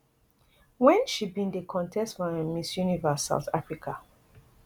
wen she bin dey contest for um miss universe south africa